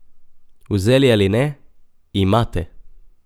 Vzeli ali ne, imate!